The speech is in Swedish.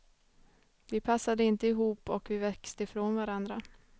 Vi passade inte ihop och vi växte ifrån varandra.